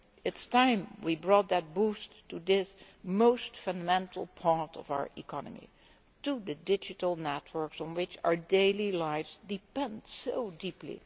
It is time we brought that boost to this most fundamental part of our economy the digital networks on which our daily lives depend so deeply.